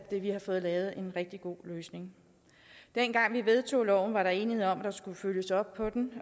har fået lavet en rigtig god løsning dengang vi vedtog loven var der enighed om at der skulle følges op på den